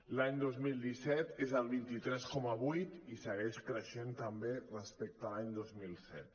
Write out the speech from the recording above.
l’any dos mil disset és el vint tres coma vuit i segueix creixent també respecte a l’any dos mil set